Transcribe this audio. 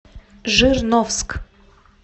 жирновск